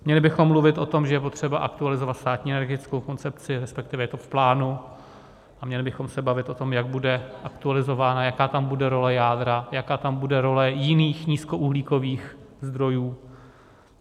Měli bychom mluvit o tom, že je potřeba aktualizovat státní energetickou koncepci, respektive je to v plánu, a měli bychom se bavit o tom, jak bude aktualizována, jaká tam bude role jádra, jaká tam bude role jiných nízkouhlíkových zdrojů.